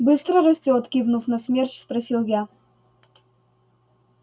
быстро растёт кивнув на смерч спросил я